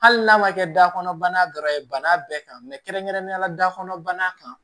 Hali n'a ma kɛ dakɔnɔ bana ye bana bɛɛ kan kɛrɛnkɛrɛnnenya la da kɔnɔ bana kan